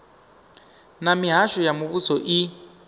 na mihasho ya muvhuso i